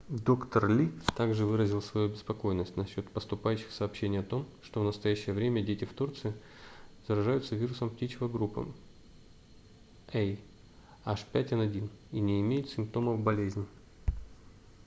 доктор ли также выразил свою обеспокоенность насчёт поступающих сообщений о том что в настоящее время дети в турции заражаются вирусом птичьего гриппа ah5n1 и не имеют симптомов болезни